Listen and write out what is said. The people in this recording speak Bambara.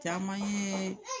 Caman ye